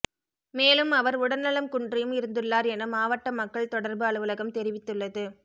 மேலும் அவர் உடல்நலம் குன்றியும் இருந்துள்ளார் என மாவட்ட மக்கள் தொடர்பு அலுவலகம் தெரிவித்துள்ளது